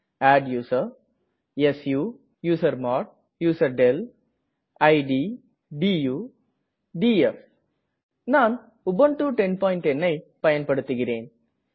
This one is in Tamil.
adduser su usermod userdel id du df நான் உபுண்டு 1010 ஐ பயன்படுத்துகிறேன்